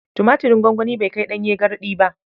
Tumatirn gwangwani bai kai ɗanye garɗi ba.